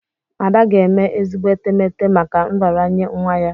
Ada ga-eme ezigbo etemeete maka nraranye nwa ya.